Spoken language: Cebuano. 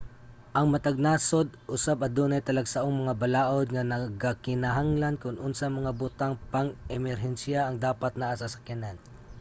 ang matag nasud usab adunay talagsaong mga balaod nga nagakinahanglan kon unsang mga butang pang-emerhensiya ang dapat naa sa sakyanan